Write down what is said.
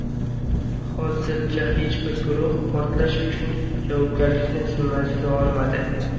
Hozircha hech bir guruh portlash uchun javobgarlikni zimmasiga olmadi.